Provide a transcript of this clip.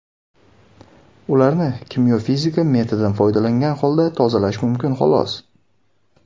Ularni kimyo-fizika metodidan foydalangan holda tozalash mumkin, xolos.